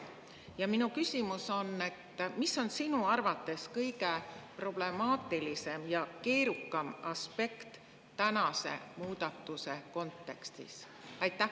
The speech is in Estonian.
Ja minu küsimus on: mis on sinu arvates kõige problemaatilisem ja keerukam aspekt tänase muudatuse kontekstis?